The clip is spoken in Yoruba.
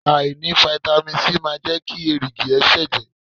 Àìní fáítámì Sí máa jẹ́ kí èrìgì ẹ ṣẹ̀jẹ̀.